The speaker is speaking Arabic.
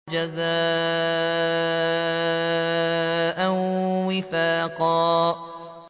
جَزَاءً وِفَاقًا